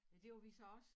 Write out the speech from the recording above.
Men det var vi så også